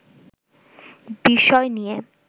বিষয় নিয়ে